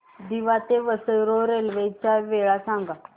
दिवा ते Vasai road railway च्या वेळा सांगा